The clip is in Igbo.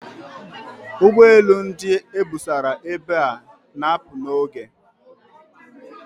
Ụgbọ elu ndị e busara ebe a na-apụ n'oge.